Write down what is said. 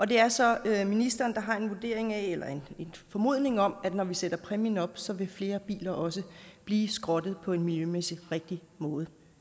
det er så ministeren der har en vurdering af eller en formodning om at når vi sætter præmien op så vil flere biler også blive skrottet på en miljømæssigt rigtig måde